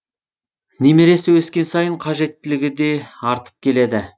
немересі өскен сайын қажеттілігі де артып келеді